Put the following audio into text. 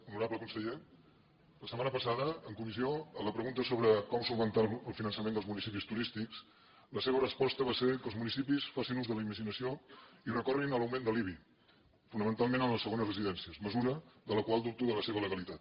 honorable conseller la setmana passada en comissió a la pregunta sobre com resoldre el finançament dels municipis turístics la seva resposta va ser que els municipis facin ús de la imaginació i recorrin a l’augment de l’ibi fonamentalment en les segones residències mesura de la qual dubto de la seva legalitat